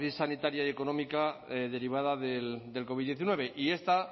crisis sanitaria y económica derivada del covid hemeretzi y esta